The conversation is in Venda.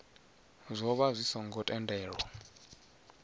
zwo vha zwi songo tendelwa